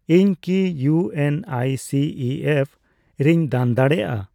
ᱤᱧᱠᱤ U N I C E F ᱨᱮᱧ ᱫᱟᱱ ᱫᱟᱲᱮᱭᱟᱜᱼᱟ?